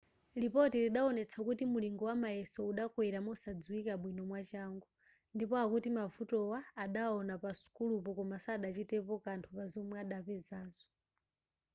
lipoti lidaonetsa kuti mulingo wamayeso udakwera mosadziwika bwino mwachangu ndipo akuti mavutowa adawawona pasukulupo koma sadachitepo kanthu pa zomwe adapezazo